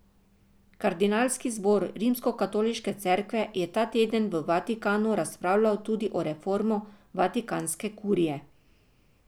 Kardinalski zbor Rimskokatoliške cerkve je ta teden v Vatikanu razpravljal tudi o reformi vatikanske kurije.